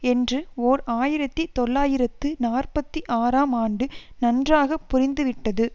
என்று ஓர் ஆயிரத்தி தொள்ளாயிரத்து நாற்பத்தி ஆறாம் ஆண்டு நன்றாக புரிந்துவிட்டது